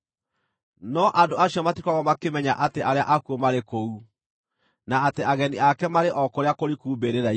No andũ acio matikoragwo makĩmenya atĩ arĩa akuũ marĩ kũu, na atĩ ageni ake marĩ o kũrĩa kũriku mbĩrĩra-inĩ.